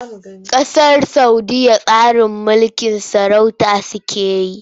Ƙasar Saudiyya tsarin mulkin sarauta take yi.